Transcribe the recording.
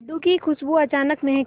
लड्डू की खुशबू अचानक महके